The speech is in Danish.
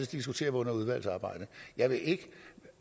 diskutere under udvalgsarbejdet jeg vil ikke